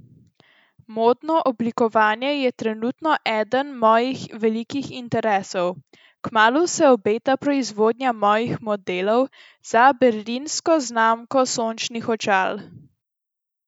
Modno oblikovanje je trenutno eden mojih velikih interesov, kmalu se obeta proizvodnja mojih modelov za berlinsko znamko sončnih očal.